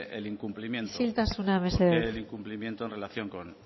el incumplimiento isiltasuna mesedez el incumplimiento en relación